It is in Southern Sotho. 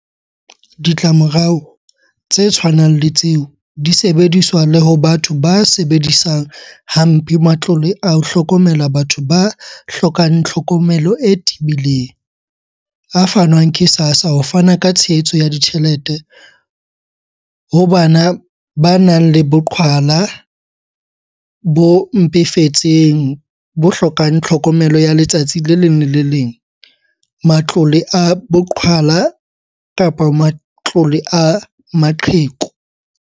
Ditlamorao tse tshwanang le tseo di sebediswa le ho batho ba sebedisang ha mpe matlole a ho hlokomela batho ba hlokang hlokomelo e tebileng - a fanwang ke SASSA ho fana ka tshehetso ya ditjhelete ho bana ba nang le boqhwala bo mpefetseng bo hlokang tlhokomelo ya letsatsi le leng le le leng, matlole a boqhwala kapa matlole a maqheku.